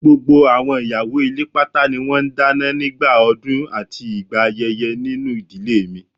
Gbogbo àwọn ìyàwó ilé pátá ni wọ́n ń dáná nígbà ọdún àti ìgbà ayẹyẹ nínú ìdílé mi